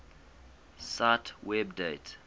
cite web date